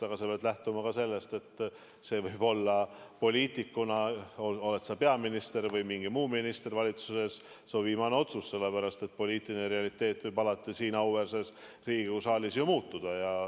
Aga sa pead lähtuma ka sellest, et see võib olla, ole sa poliitikuna peaminister või mingi muu minister valitsuses, su viimane otsus, sest poliitiline realiteet võib alati siin auväärses Riigikogu saalis ju muutuda.